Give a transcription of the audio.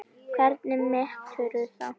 Hvernig meturðu það?